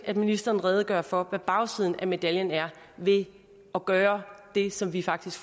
at ministeren redegør for hvad bagsiden af medaljen er ved at gøre det som vi faktisk